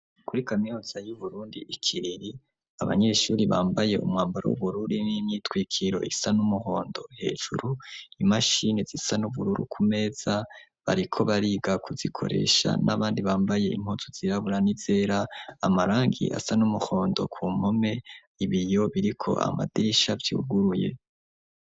Kuri kaminuza y'Uburundi i Kiriri, abanyeshuri bambaye umwambaro w'ubururu n'imyitwikiro isa n'umuhondo hejuru, imashini zisa n'ubururu ku meza, bariko bariga kuzikoresha, n'abandi bambaye impuzu zirabura n'izera, amarangi asa n'umuhondo ku mpome, ibiyo biriko amadirisha vyuguruye.